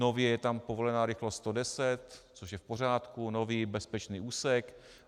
Nově je tam povolená rychlost 110, což je v pořádku, nový bezpečný úsek.